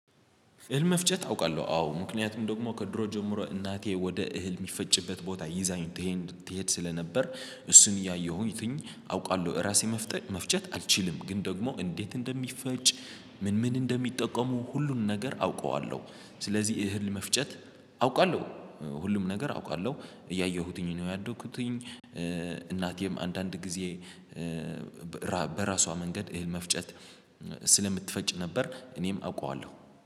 እህል መፍጨት አውቃለሁ አዎ ምክንያቱም ደግሞ ከድሮ ጀምሮ እናቴ ወደ እህል የሚፈጭበት ቦታ ይዛኝ ትሄድ ትሄድ ስለነበር። እሱን እያየሁኝ አውቃለሁ ራሴ መፍጨት አልችልም። ግን ደግሞ እንዴት እንደሚፈጭ ምን ምን እንደሚጠቀሙ ሁሉን ነገር አውቀዋለሁ። ስለዚህ እህል መፍጨት አውቃለሁ። ሁሉም ነገር አውቃለሁ እያየሁትኝ ነው ያደኩትኝ። እናቴም አንዳንድ ጊዜ በራሷ መንገድ እህል መፍጨት ስለምትፈጭ ነበር። እኔም አውቀዋለሁ